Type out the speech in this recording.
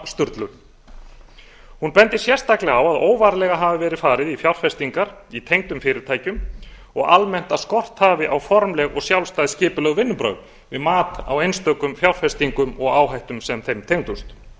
skammtímasturlun hún bendir sérstaklega á að óvarlega hafi verið farið í fjárfestingar í tengdum fyrirtækjum og að almennt að skort hafi á formleg og sjálfstæð skipuleg vinnubrögð við mat á einstökum fjárfestingum og áhættum sem þeim tengdust